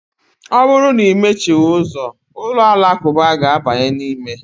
Ọ bụrụ na imechighị ụzọ, ụlọ alakụba ga-abanye n'ime.